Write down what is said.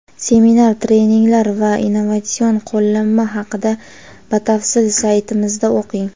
Seminar-treninglar va innovatsion qo‘llanma haqida batafsil saytimizda o‘qing.